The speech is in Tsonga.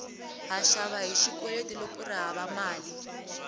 ha xava hi xikweleti loko kuri hava mali